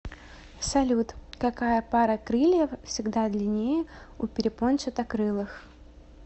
салют какая пара крыльев всегда длиннее у перепончатокрылых